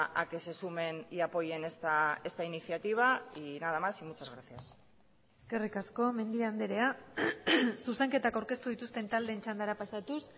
a que se sumen y apoyen esta iniciativa y nada más y muchas gracias eskerrik asko mendia andrea zuzenketak aurkeztu dituzten taldeen txandara pasatuz